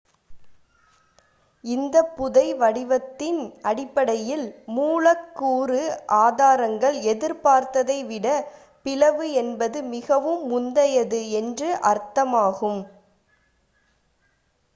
"""இந்த புதைபடிவத்தின் அடிப்படையில் மூலக்கூறு ஆதாரங்கள் எதிர்பார்த்ததை விட பிளவு என்பது மிகவும் முந்தையது என்று அர்த்தமாகும்.